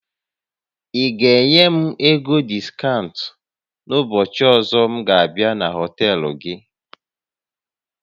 Ị ga-enye m ego diskaụnt n'ụbọchị ọzọ m ga abịa na họtel gị?